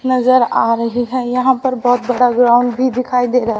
नजर आ रही है यहां पर बहोत बड़ा ग्राउंड भी दिखाई दे रहा--